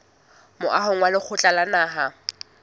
moahong wa lekgotla la naha